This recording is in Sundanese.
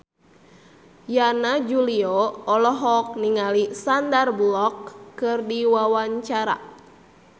Yana Julio olohok ningali Sandar Bullock keur diwawancara